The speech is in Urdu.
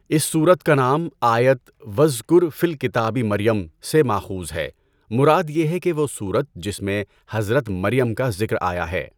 اس سورت کا نام, آیت "وَاذٔکُرٔ فِی الکِتٰبِ مَرْیَم" سے ماخوذ ہے، مراد یہ ہے کہ وہ سورت جس میں حضرت مریم کا ذکر آیا ہے۔